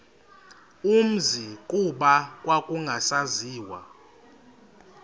umzi kuba kwakungasaziwa